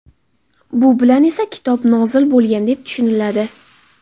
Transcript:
Bu bilan esa kitob nozil bo‘lgan, deb tushuniladi.